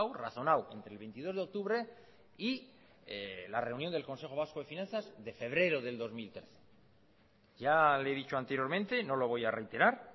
razonado entre el veintidós de octubre y la reunión del consejo vasco de finanzas de febrero del dos mil trece ya le he dicho anteriormente no lo voy a reiterar